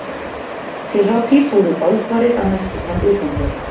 Fyrr á tíð fóru bálfarir að mestu fram utandyra.